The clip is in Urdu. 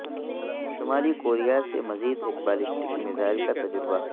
شمالی کوریا سے مزید ایک بالسٹک میزائل کا تجربہ